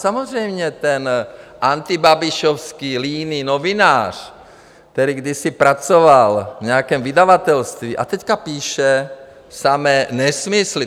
Samozřejmě, ten antibabišovský líný novinář, který kdysi pracoval v nějakém vydavatelství a teď píše samé nesmysly.